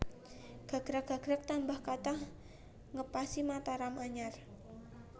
Gagrag gagrag tambah kathah ngepasi Mataram anyar